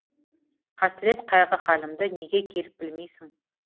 қасірет қайғы халімді неге келіп білмейсің